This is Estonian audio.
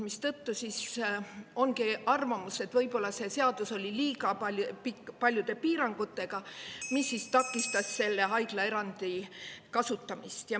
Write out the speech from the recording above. Mistõttu ongi arvamus, et võib-olla see seadus oli liiga paljude piirangutega, mis siis takistas selle haiglaerandi kasutamist.